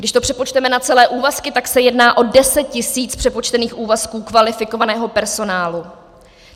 Když to přepočteme na celé úvazky, tak se jedná o 10 tisíc přepočtených úvazků kvalifikovaného personálu.